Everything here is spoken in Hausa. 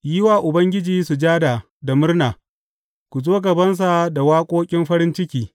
Yi wa Ubangiji sujada da murna; ku zo gabansa da waƙoƙin farin ciki.